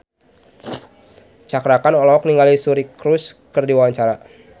Cakra Khan olohok ningali Suri Cruise keur diwawancara